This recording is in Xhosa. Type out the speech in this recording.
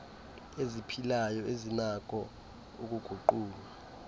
eziphilayo ezinakho ukuguqulwa